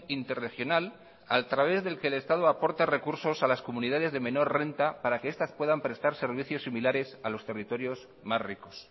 interregional a través del que el estado aporta recursos a las comunidades de menor renta para que estas puedan prestar servicios similares a los territorios más ricos